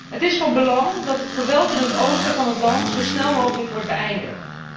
Het is van belang dat het geweld in het oosten van dat land zo snel mogelijk wordt beëindigd.